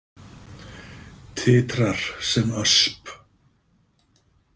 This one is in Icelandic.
Titrar sem ösp.